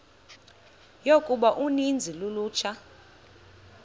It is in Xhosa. yokuba uninzi lolutsha